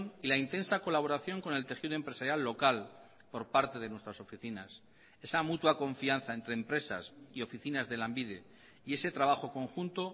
y la intensa colaboración con el tejido empresarial local por parte de nuestras oficinas esa mutua confianza entre empresas y oficinas de lanbide y ese trabajo conjunto